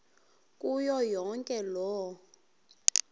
kuyo yonke loo